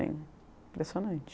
Impressionante.